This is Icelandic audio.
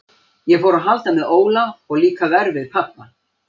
Ég fór að halda með Óla og líka verr við pabba.